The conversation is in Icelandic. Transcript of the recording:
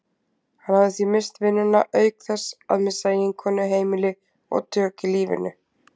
Hann hafði því misst vinnuna auk þess að missa eiginkonu, heimili og tök á lífinu.